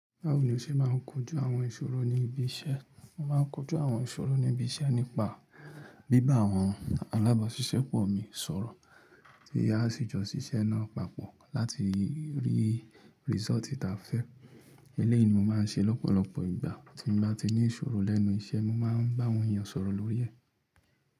Báwo ni o ṣe máa ń kojú àwọn ìṣòro ní ibi iṣẹ́? Mo máa ń kojú àwọn ìṣòro ní ibi iṣẹ́ nípa bíbá àwọn alábàáṣiṣẹ́pọ̀ mi sọ̀rọ̀, tí a sì jọ ṣiṣẹ́ náà papọ̀ láti rí risooti taa fẹ́. Eleyìí ni mo máa ń ṣe lọ́pọ̀lọpọ̀ ìgbà tí mo bá ti ní ìṣòro lẹ́nu iṣẹ́, mo máa ń bá àwọn èèyàn sọ̀rọ̀ lórí ẹ̀.